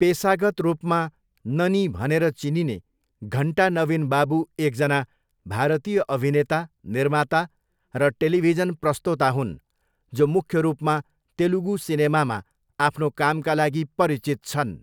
पेसागत रूपमा ननी भनेर चिनिने घन्टा नविन बाबू एकजना भारतीय अभिनेता, निर्माता, र टेलिभिजन प्रस्तोता हुन् जो मुख्य रूपमा तेलुगु सिनेमामा आफ्नो कामका लागि परिचित छन्।